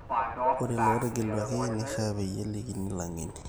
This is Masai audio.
ore lilootegeluaki neishiaa peyie elikini illangeni